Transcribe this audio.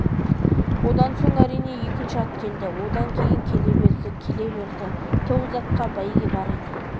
одан соң әрине екінші ат келді одан кейін келе берді келе берді тоғыз атқа бәйге бар еді